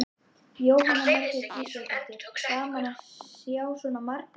Jóhanna Margrét Gísladóttir: Gaman að sjá svona marga?